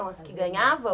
As que ganhavam?